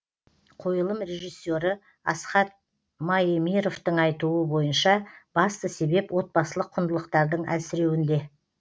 қойылым режиссері асхат маемировтың айтуы бойынша басты себеп отбасылық құндылықтардың әлсіреуінде